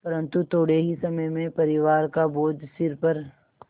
परन्तु थोडे़ ही समय में परिवार का बोझ सिर पर